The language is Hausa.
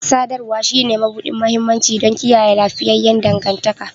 Sadarwa shine mabuɗin mahimmanci don kiyaye lafiyayyen dangantaka